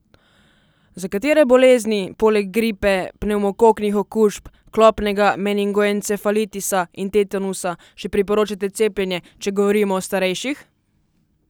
Za katere bolezni, poleg gripe, pnevmokoknih okužb, klopnega meningoencefalitisa in tetanusa, še priporočate cepljenje, če govorimo o starejših?